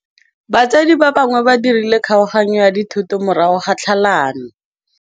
Batsadi ba gagwe ba dirile kgaoganyô ya dithoto morago ga tlhalanô.